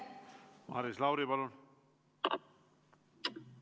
Maris Lauri, palun!